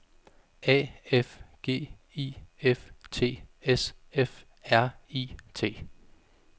A F G I F T S F R I T